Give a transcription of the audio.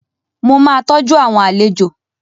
Mo máa tọ́jú àwọn àlejò